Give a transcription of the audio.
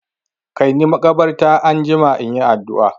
Kaini makabarta anjima in yi addu'a!